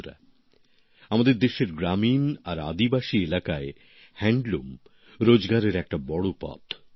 বন্ধুরা আমাদের দেশের গ্রামীণ আর আদিবাসী এলাকায় তাঁতশিল্প রোজগারের একটা বড় পথ